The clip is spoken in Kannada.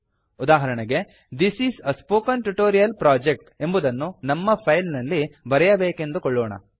ಉದಾಹರಣೆಗೆ this is a spoken tutorial project ಎಂಬುದನ್ನು ನಮ್ಮ ಫೈಲ್ ನಲ್ಲಿ ಬರೆಯಬೇಕೆಂದುಕೊಳ್ಳೋಣ